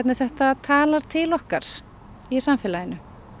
þetta talar til okkar í samfélaginu